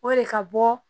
O de ka bɔ